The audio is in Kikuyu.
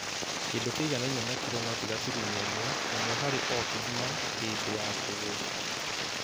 Kĩndũ kĩiganaine na kiro noti gaturumo ĩmwe, ĩmwe harĩ o kĩgima hĩndĩ ya kũgũrũ